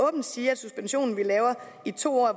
åbent sige at suspensionen vi laver i to år